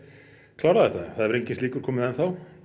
klára þetta það hefur enginn slíkur komið enn þá